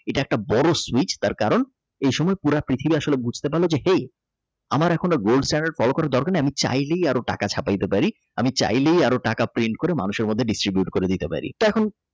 এটা একটা বড় Switch তার কারণ পৃথিবী আসলে বুঝতে পারল যে আমার এখন Gold stand করার কোন দরকার নাই আমি চাইলে আরো টাকা ছাপাইতে পারি আমি চাইলেই আরো টাকা Paint করে মানুষের মধ্যে Distribute করে দিতে পারি তা এখন।